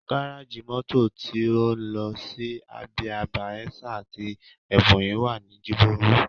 Gárájì mọ́tò tí ń lọ sí Abia, Bayelsa àti Ebonyi wà ní Jibowu